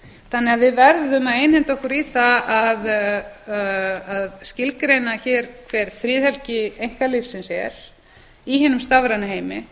lítilsverð við verðum því að einhenda okkur í það að skilgreina hér hver friðhelgi einkalífsins er í hinum stafræna heimi